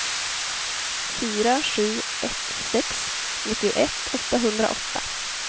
fyra sju ett sex nittioett åttahundraåtta